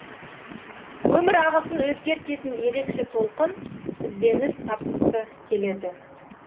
өмір ағысын өзгертетін ерекше толқын ізденіс тапқысы келеді